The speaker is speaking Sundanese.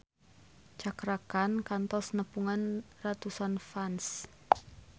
Cakra Khan kantos nepungan ratusan fans